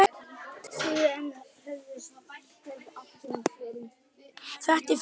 Þetta er fyndið.